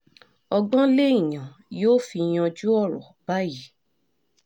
ọgbọ́n lèèyàn yóò fi yanjú ọ̀rọ̀ báyìí